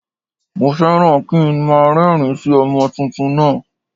Mo fẹ́ràn kí nmá a rérìn- ín sí ọmọ tuntun náà